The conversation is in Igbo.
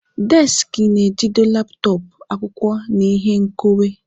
Desiki na-ejide laptọọpụ, akwụkwọ, na ihe nkeonwe.